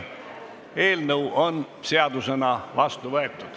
Eelnõu on seadusena vastu võetud.